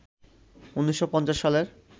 ১৯৫০ সালের